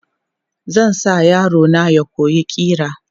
Zan sa yaro na ya koyi ƙira.